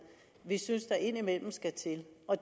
vi synes der indimellem skal til